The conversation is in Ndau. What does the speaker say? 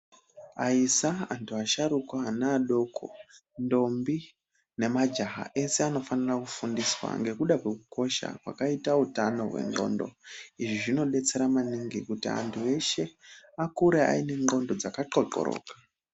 Aisa, antu asharukwa, ana adoko, ndombi nemajaha ese anofanira kufundiswa ngekuda kwekukosha kwakaita utano hwendxondo. Izvi zvinodetsera maningi kuti antu eshe akure aine ndxondo dzakaxoxoroka.